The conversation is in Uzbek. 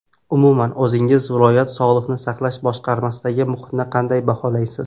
Umuman, o‘zingiz viloyat sog‘liqni saqlash boshqarmasidagi muhitni qanday baholaysiz?